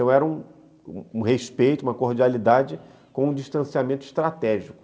Então era um respeito, uma cordialidade com um distanciamento estratégico.